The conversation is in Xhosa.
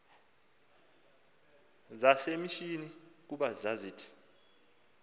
zasemishini kuba zazisith